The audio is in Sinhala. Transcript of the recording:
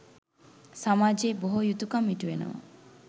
සමාජයේ බොහෝ යුතුකම් ඉටුවනවා.